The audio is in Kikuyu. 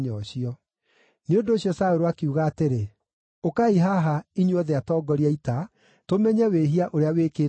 Nĩ ũndũ ũcio Saũlũ akiuga atĩrĩ, “Ũkai haha, inyuothe atongoria a ita, tũmenye wĩhia ũrĩa wĩkĩtwo ũmũthĩ.